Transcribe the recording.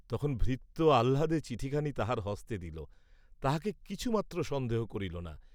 তখন ভৃত্য আহ্লাদে চিঠিখানি তাহার হস্তে দিল, তাহাকে কিছুমাত্র সন্দেহ করিল না।